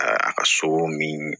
A a ka so min